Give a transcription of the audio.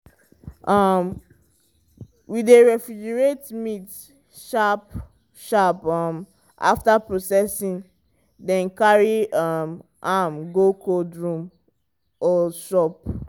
um we dey refrigerate meat sharp-sharp um after processing then carry um am go cold room or shop.